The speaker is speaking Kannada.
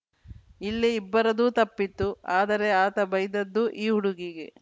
ಇಲ್ಲಿ ಇಬ್ಬರದೂ ತಪ್ಪಿತ್ತು ಆದರೆ ಆತ ಬೈದದ್ದೂ ಈ ಹುಡುಗಿಗೆ